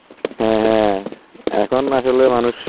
হ্যাঁ. এখন আসলে মানুষটা আসলে মানুষ